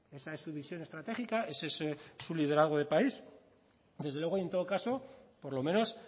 esa es su visión estratégica ese es su liderazgo de país desde luego y en todo caso por lo menos